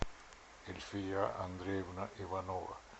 эльфия андреевна иванова